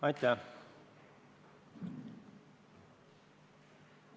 Aitäh!